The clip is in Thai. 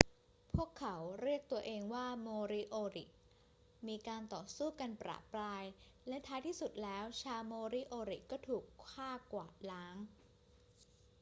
พวกเขาเรียกตัวเองว่าโมริโอริ มีการต่อสู้กันประปราย และท้ายที่สุดแล้วชาวโมริโอริก็ถูกฆ่ากวาดล้าง